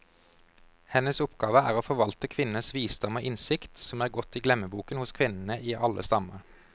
Hennes oppgave er å forvalte kvinners visdom og innsikt, som er gått i glemmeboken hos kvinnene i alle stammer.